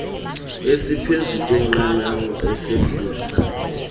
esiphezu kweqanawa esehlisa